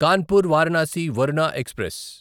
Kanpur Varanasi Varuna express